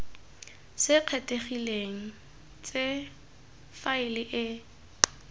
se kgethegileng tse faele e